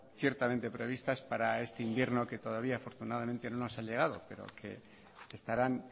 ciertamente previstas para este invierno que todavía afortunadamente no nos ha llegado pero que estarán